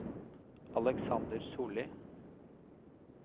Alexander Sollie